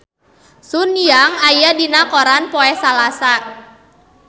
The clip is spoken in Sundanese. Sun Yang aya dina koran poe Salasa